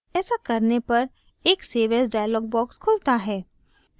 as करने पर एक save as dialog box खुलता है